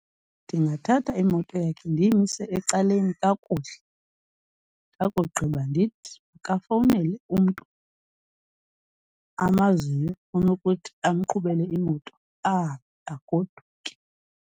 Ndingathatha imoto yakhe ndiyimise ecaleni kakuhle ndakugqiba ndithi kafowunele umntu amaziyo onokuthi amqhubele imoto ahambe agoduke.